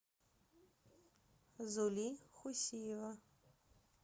зули хусиева